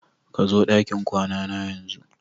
Kazo dakin kwanana yanzu!